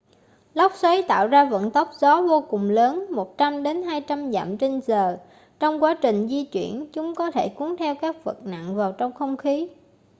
lốc xoáy tạo ra vận tốc gió vô cùng lớn 100-200 dặm/giờ. trong quá trình di chuyển chúng có thể cuốn theo các vật nặng vào trong không khí